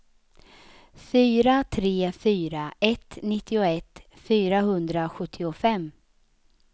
fyra tre fyra ett nittioett fyrahundrasjuttiofem